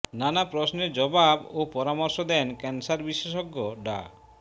নানা প্রশ্নের জবাব ও পরামর্শ দেন ক্যান্সার বিশেষজ্ঞ ডা